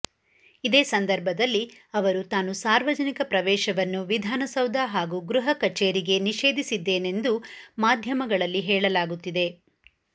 ಇದೇ ಸಂದರ್ಭದಲ್ಲಿ ಅವರು ತಾನು ಸಾರ್ವಜನಿಕ ಪ್ರವೇಶವನ್ನು ವಿಧಾನಸೌಧ ಹಾಗೂ ಗೃಹ ಕಛೇರಿಗೆ ನಿಷೇಧಿಸಿದ್ದೇನೆಂದು ಮಾದ್ಯಮಗಳಲ್ಲಿ ಹೇಳಲಾಗುತ್ತಿದೆ